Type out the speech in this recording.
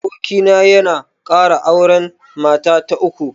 Abokina ya kara auren mata ta uku